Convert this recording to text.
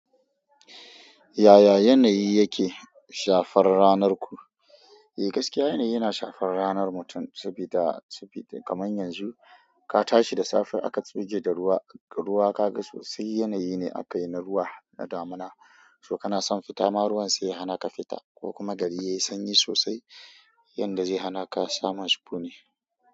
Yaya yanayi yake shafar ranar ku? Eh gaskiya yanayi yana shafar ranar mutum, sabida. Sabida kaman yanzu ka tashi da safe aka tsuge da ruwa, ruwa ka ga sosai yanayi ne aka yi na ruwa na damuna, ko kana son fita ma ruwan sai ya hana ka fita ko kuma gari yayi sanyi sosai, yanda zai hana ka samun sukuni.